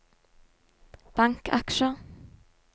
bankaksjer